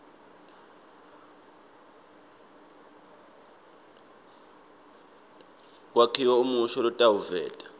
kwakhiwa umusho lotawuveta